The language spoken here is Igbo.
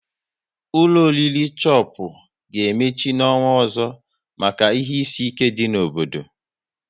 Ụlọ oriri Chopu ga emechi n'ọnwa ọzọ maka ihe isi ike dị n'obodo